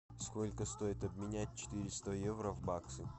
сколько стоит обменять четыреста евро в баксы